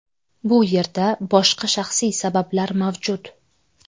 Bu yerda boshqa shaxsiy sabablar mavjud.